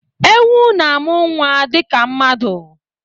Ewu na-amụ nwa dịka mmadụ.